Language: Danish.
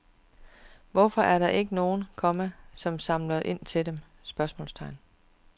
Hvorfor er der ikke nogen, komma som samler ind til dem? spørgsmålstegn